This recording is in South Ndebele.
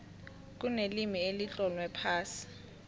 kunelimi elitlolwe phasi